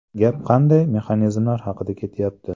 Gap qanday mexanizmlar haqida ketyapti?